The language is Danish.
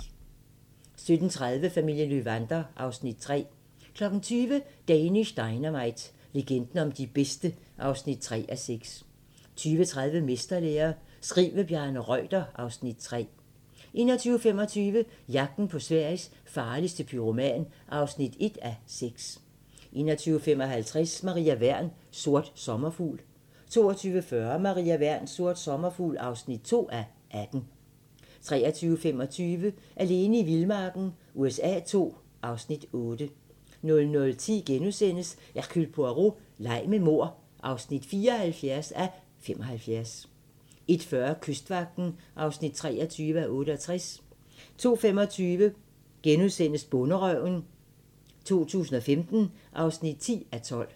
17:30: Familien Löwander (Afs. 3) 20:00: Danish Dynamite - legenden om de bedste (3:6) 20:30: Mesterlære - skriv med Bjarne Reuter (Afs. 3) 21:25: Jagten på Sveriges farligste pyroman (1:6) 21:55: Maria Wern: Sort sommerfugl 22:40: Maria Wern: Sort sommerfugl (2:18) 23:25: Alene i vildmarken USA II (Afs. 8) 00:10: Hercule Poirot: Leg med mord (74:75)* 01:40: Kystvagten (23:68) 02:25: Bonderøven 2015 (10:12)*